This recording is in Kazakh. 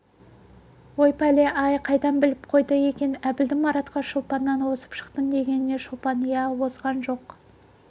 ой пәле-ай қайдан біліп қойды екен әбілдің маратқа шолпаннан озып шықтың дегеніне шолпан иә озған жоқ